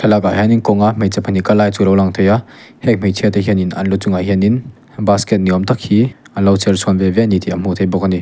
hian in kawnga hmeichhe pahnih kal lai chu a alo lang theih a heng hmeichhia te hian in an lu chungah hian in buscket ni awm tak hi anlo chherchhuan ve ve ani tih a hmuh theih bawk a ni.